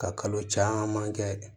Ka kalo caman kɛ